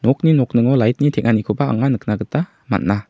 nokni nokningo lait ni teng·anikoba anga nikna gita man·a.